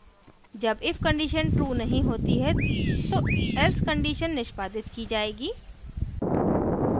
जब if condition true नहीं होती है तो else condition निष्पादित की जाएगी;